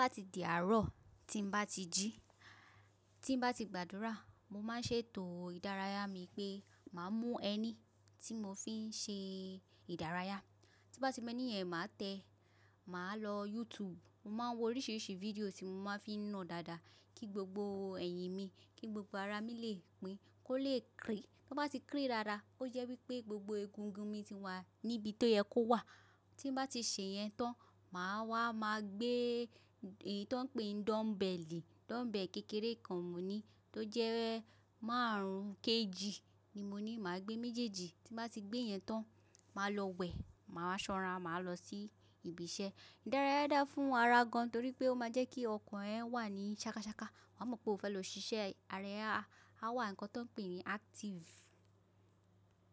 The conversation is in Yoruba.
Tó bá ti di àárọ̀, tí bá ti jí, tí bá ti gbàdúrà, mo máa ń ṣètò ìdárayá mi pé màá mú ẹni tí mo fi ń ṣe ìdárayá. Tí bá ti mú ẹni yẹn máa tẹ, màá lọ YouTube, mo máa ń wo oríṣiríṣi fídíò tí mo máa ń fi na dàada, kí gbogbo eyín mi, kí gbogbo ara mi lè pín, kó lè krii. Tí ó bá ti krii dáadáa, ó jẹ́ wípé gbogbo egungun mi ti wà níbi tó yẹ kó wà. Tí bá ti ṣe yẹn tán, màá wá màá gbé èyí tó ń pe dumbbell, dumbbell kékeré kan mo ní tó jẹ́ márùn-ún KG ni mo ní, màá gbé méjèèjì. Tí bá ti gbé yẹn tán, màá lọ wẹ̀, màá ṣanra, màá lọ sí ibi iṣẹ́. Ìdárayá dára fún ara gan torí pé ó máa ń jẹ́ kí ọkàn ẹ wà ní ṣakáṣaká. Wàá mọ̀ pé o fẹ́ lọ ṣiṣẹ́, ara ẹ a, a wà ní nǹkan tó ń pè ní active.